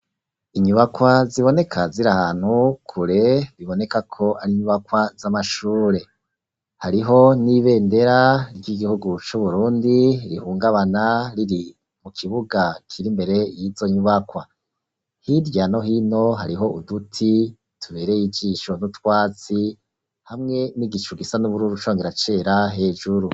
inyubakwa ziboneka ziri ahantu kure bibonekako ar'inyubakwa z'amashure hariho n'ibendera ry'igihugu c'uburundi rihungabana riri mu kibuga kiri mbere y'izo nyubakwa, hirya no hino hariho uduti tubereye ijisho n'utwatsi hamwe n'igicu gisa n'ubururu congera cera hejuru.